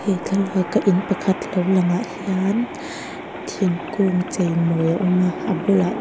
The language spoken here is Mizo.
he thlalak a in pakhat lo lang ah hian thingkung chei mawi a awm a a bulah chuan--